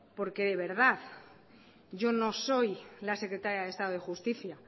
porque de verdad yo no soy la secretaria del estado de justicia